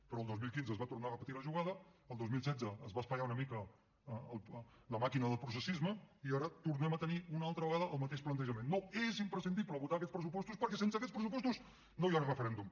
però el dos mil quinze es va tornar a repetir la jugada el dos mil setze es va espatllar una mica la màquina del processisme i ara tornem a tenir una altra vegada el mateix plantejament no és imprescindible votar aquests pressupostos perquè sense aquests pressupostos no hi ha referèndum